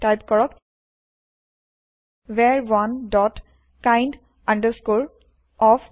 type কৰক ভাৰ1 dot kind of